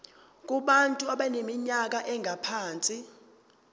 kubantu abaneminyaka engaphansi